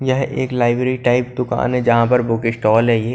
यह एक library type दुकान है जहां पर बुक स्टॉल है ये।